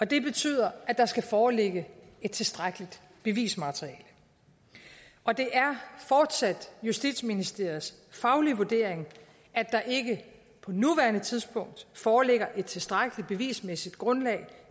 det betyder at der skal foreligge et tilstrækkeligt bevismateriale og det er fortsat justitsministeriets faglige vurdering at der ikke på nuværende tidspunkt foreligger et tilstrækkelig bevismæssigt grundlag